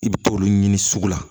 I bi t'olu ɲini sugu la